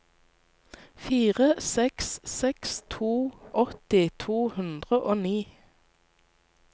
fire seks seks to åtti to hundre og ni